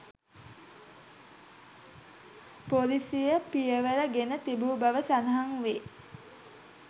පොලිසිය පියවර ගෙන තිබුණු බව සඳහන් වේ